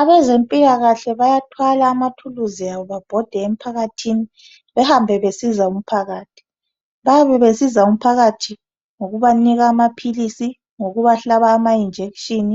Abezempilakahle bayathwala amathuluzi abo babhode emphakathini behambe besizanan umphakathi bayabe besizanan umphakathi ngokubanika amaphilisi ngokubahlaba ama injection